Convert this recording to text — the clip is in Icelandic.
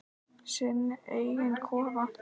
Sinn eiginn kofa.